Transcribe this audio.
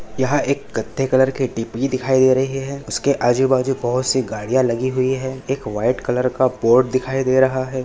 यहा एक कत्थे कलर की डी-पी दिखाई दे रही है उसके आजूबाजू बहुत सी गाडीया लगी हुई है एक व्हाइट कलर का बोर्ड दिखाई दे रहा है।